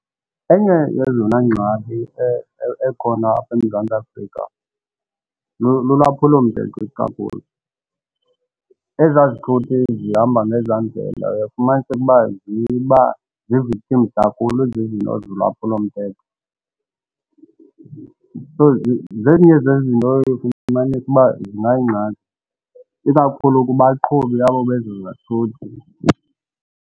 Enye yezona ngxaki ekhona apha eMzantsi Afrika lulwaphulomthetho ikakhulu ezaa zithuthi zihamba ngezi ndlela uyafumaniseke uba ziba zii-victims kakhulu zizinto zolwaphulomthetho. So zezinye zezinto eye ufumanise uba zingayingxaki ikakhulu kubaqhubi abo bezo zathuthi.